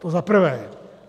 To za prvé.